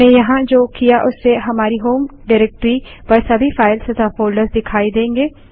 हमने यहाँ जो किया उससे हमारी होम डाइरेक्टरी पर सभी फाइल्स तथा फ़ोल्डर्स दिखाई देंगे